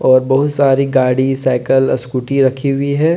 और बहुत सारी गाड़ीसाइकिलस्कूटी रखी हुई है।